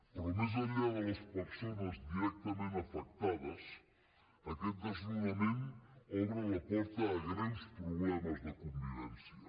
però més enllà de les persones directament afectades aquest desnonament obre la porta a greus problemes de convivència